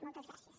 moltes gràcies